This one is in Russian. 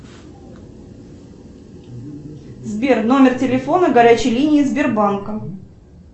сбер номер телефона горячей линии сбербанка